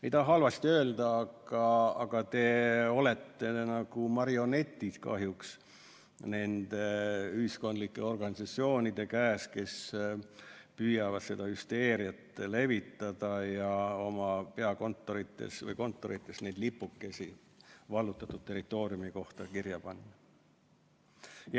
Ei taha halvasti öelda, aga te olete kahjuks nagu marionetid nende ühiskondlike organisatsioonide käes, kes püüavad seda hüsteeriat levitada ja oma peakontorites ja muudes kontorites lipukesi vallutatud territooriumi kaardile panna.